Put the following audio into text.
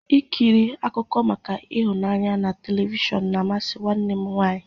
Ịkiri akụkọ maka ịhụnanya na telivishọn na-amasị nwanne m nwaanyị.